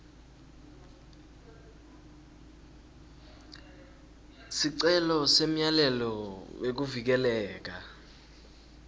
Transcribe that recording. sicelo semyalelo wekuvikeleka